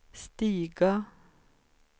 stiga